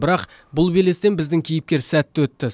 бірақ бұл белестен біздің кейіпкер сәтті өтті